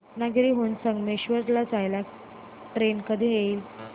रत्नागिरी हून संगमेश्वर ला जाणारी ट्रेन कधी येईल